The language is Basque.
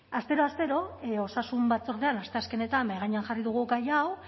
astero astero osasun batzordean asteazkenetan mahai gainean jarri dugu gai hau